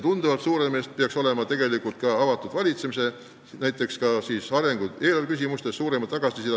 Tunduvalt rohkem peaks rakendama avatud valitsemise mehhanisme, ja seda ka eelarve küsimustes.